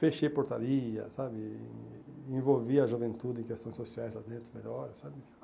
Fechei portaria, sabe, envolvi a juventude em questões sociais lá dentro melhor, sabe.